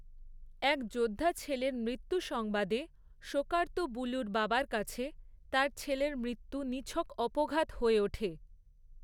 এক যোদ্ধা ছেলের মৃত্যুসংবাদে, শোকার্ত বুলুর বাবার কাছে, তার ছেলের মৃত্যু নিছক অপঘাত হয়ে ওঠে।